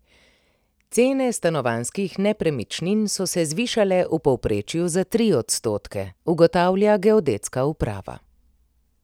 Cene stanovanjskih nepremičnin so se zvišale v povprečju za tri odstotke, ugotavlja geodetska uprava.